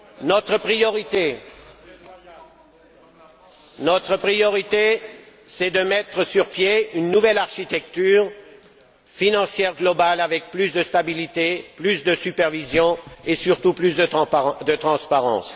Notre priorité est de mettre sur pied une nouvelle architecture financière globale avec plus de stabilité, plus de supervision et, surtout, plus de transparence.